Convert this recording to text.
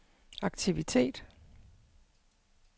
aktivitet